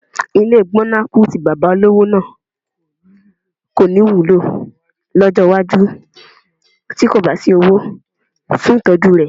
Ilé gbọ̀nàkù tí bàbá olówó náà kọ́ ní wúlò lọ́jọ́ iwájú tí kò bá sí owó fún ìtọ́jú rẹ̀